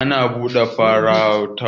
Ana Bikin ɓuɗar dawa, duk shekara na mafarauta.